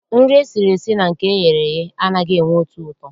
Nri esiri esi na nke eghere eghe anaghị enwe otu ụtọ.